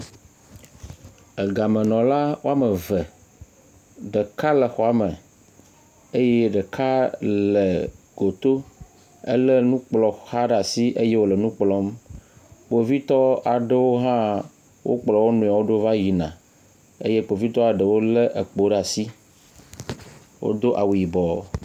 Egamenɔla wo ame eve. Ɖeka le xɔa me eye ɖeka le goto, elé nukplɔxa ɖe asi eye wòle nu kplɔm. Kpovitɔ aɖewo hã wokplɔ wo nɔewo ɖo va yina eye Kpovitɔa eɖewo lé ekpo ɖe asi. Wodo awu yibɔ